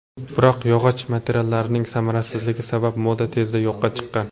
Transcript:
Biroq yog‘och materiallarning samarasizligi sabab moda tezda yo‘qqa chiqqan.